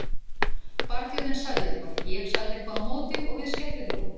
Barþjónninn sagði eitthvað, ég sagði eitthvað á móti og við skellihlógum.